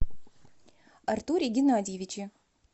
артуре геннадьевиче